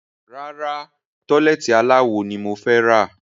Rárá, tọ́lẹ́ẹ́tì aláwo ni mo fẹ́ rà.